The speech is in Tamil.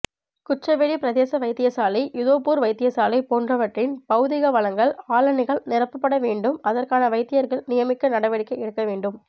குச்சவெளி பிரதேச வைத்தியசாலைஇதோப்பூர் வைத்தியசாலை போன்றவற்றின் பௌதீக வளங்கள் ஆளணிகள் நிரப்படவேண்டும் அதற்கான வைத்தியர்கள் நியமிக்க நடவடிக்கை எடுக்கவேண்டும்